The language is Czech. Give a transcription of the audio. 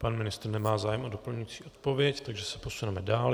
Pan ministr nemá zájem o doplňující odpověď, takže se posuneme dál.